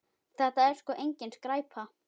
Þetta er sko engin skræpa.